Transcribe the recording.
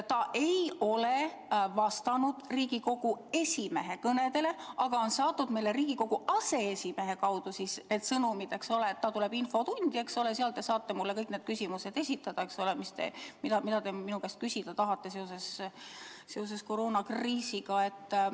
Ta ei ole vastanud Riigikogu esimehe kõnedele, aga on saatnud meile Riigikogu aseesimehe kaudu sõnumi, eks ole, et ta tuleb infotundi ja seal saab talle esitada kõik küsimused, mida me tahame küsida seoses koroonakriisiga.